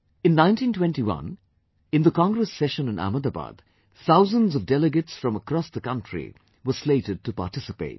In 1921, in the Congress Session in Ahmedabad, thousands of delegates from across the country were slated to participate